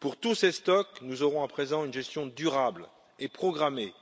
Pour tous ces stocks, nous aurons à présent une gestion durable et programmée,